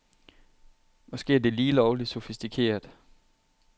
Måske er det lige lovligt sofistikeret.